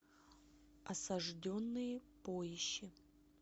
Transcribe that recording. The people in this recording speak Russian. осажденные поищи